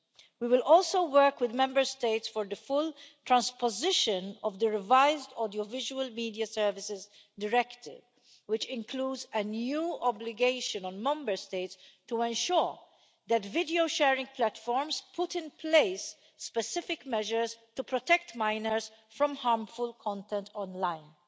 We will also work with Member States for the full transposition of the revised Audiovisual Media Services Directive, which includes a new obligation on Member States to ensure that video sharing platforms put in place specific measures to protect minors from harmful content online.